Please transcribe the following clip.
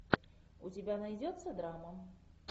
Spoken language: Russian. у тебя найдется драма